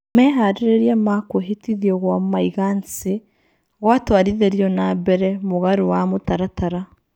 Meharĩrĩria ma kwihĩtithio gwa maĩgancĩ gwatwarithĩrio na mbere mũgarũwa mũtaratara.